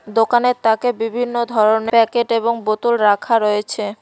দোকানের তাকে বিভিন্ন ধরনের প্যাকেট এবং বোতল রাখা রয়েছে।